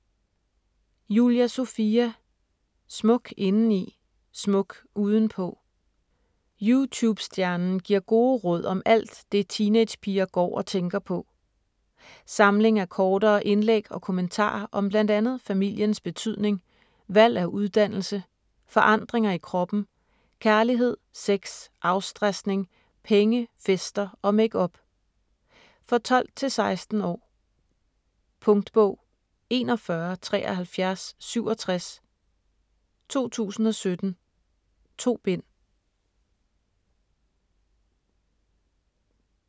Julia Sofia: Smuk indeni - smuk udenpå Youtube-stjernen giver gode råd om alt det teenagepiger går og tænker på. Samling af kortere indlæg og kommentarer om bl.a familiens betydning, valg af uddannelse, forandringer i kroppen, kærlighed, sex, afstresning, penge, fester og makeup. For 12-16 år. Punktbog 417367 2017. 2 bind.